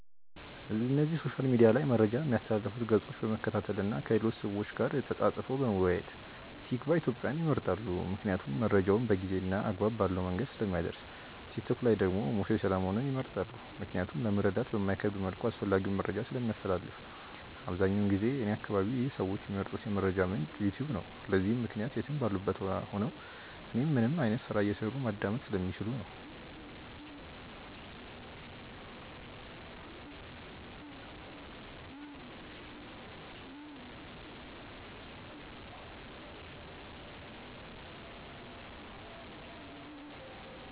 እነዚህ ሶሻል ሚድያ ላይ መረጃ ሚያስተላልፉትን ገፆች በመከታተል እና ከሌሎች ሰዎች ጋር ተፃፅፎ በመወያየት። ቲክቫ ኢትዮጵያን ይመርጣሉ ምክንያቱም መረጃውን በጊዜ እና አግባብ ባለው መንገድ ስለሚያደርስ። ቲክቶክ ላይ ደግሞ ሙሴ ሰለሞንን ይመርጣሉ ምክንያቱም ለመረዳት በማይከብድ መልኩ አስፈላጊውን መረጃን ስለሚያስተላልፍ። አብዛኛውን ጊዜ እኔ አከባቢ ይህ ሰዎች ሚመርጡት የመረጃ ምንጭ "ዩትዩብ" ነው። ለዚህም ምክንያት የትም ባሉበት ቦታ ሆነው እናም ምንም አይነት ስራ እየሰሩ ማዳመጥ ስለሚችሉ ነው።